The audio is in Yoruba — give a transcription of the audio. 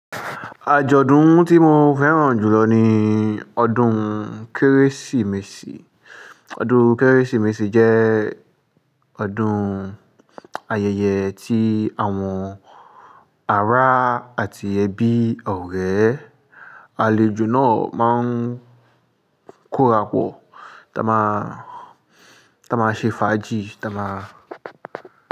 Àjọ̀dún tí mo fẹ́ràn jùlọ ni ọdún Kérésìmesì. Ọdún Kérésìmesì jẹ́ ọdún ayẹyẹ tí àwọn ará àti ẹbí ọ̀rẹ́ àlejò náà máa ń kórapọ̀, tá máa, tá máa ṣe fàájì, tá máa.